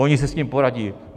Oni si s tím poradí.